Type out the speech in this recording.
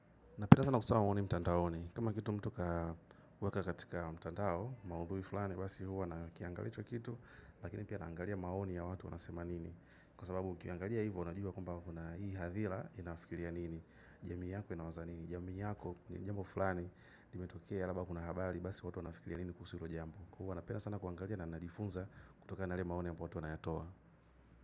Napena sana kusoma maoni mtandaoni. Kama kitu mtu akawewa katika mtandao, maudhui fulani, basi huwa nakiangalia hicho kitu, lakini pia naangalia maoni ya watu wanasema nini. Kwa sababu ukiangalia hivyo, unajua kwamba kuna hii hadhira inafikiria nini. Jamii yako inawaza nini. Jamii yako, ni jambo fulani, limetokea labda kuna habari, basi watu wanafikiri nini kuhusi hilo jambo. Huwa napenda sana kuangalia na ninajifunza kutoka na yale maoni ambayo watu wanayatoa.